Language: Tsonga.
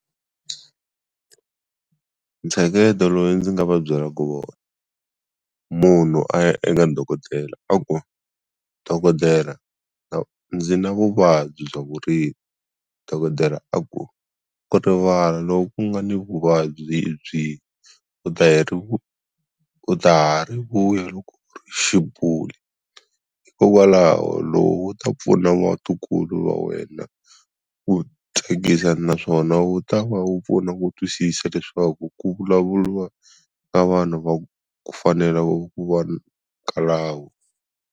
Ntsheketo loyi ndzi nga va byela ku wona. Munhu a ya eka dokodela a ku, dokodela ndzi na vuvabyi bya vurimi, dokodela a ku, ku rivala lo ku nga ni vuvabyi hi byihi u ta hi ri u ta ha ri vuya loko hikokwalaho lowu wu ta na vatukulu va wena ku thyakisa naswona wu ta va wu pfuna ku twisisa leswaku ku vulavuriwa eka vanhu va ku fanela wu ku va .